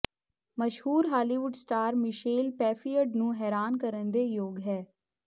ਮਸ਼ਹੂਰ Hollywood star Michelle Pfeiffer ਨੂੰ ਹੈਰਾਨ ਕਰਨ ਦੇ ਯੋਗ ਹੈ